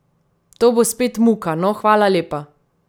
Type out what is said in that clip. To bo spet muka, no, hvala lepa!